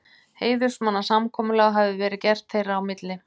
Heiðursmannasamkomulag hafi verið gert þeirra á milli.